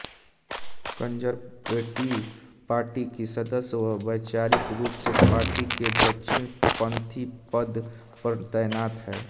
conservative party की सदस्य वह वैचारिक रूप से पार्टी के दक्षिणपंथी पद पर तैनात हैं